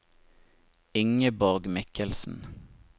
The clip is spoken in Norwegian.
Ingeborg Michelsen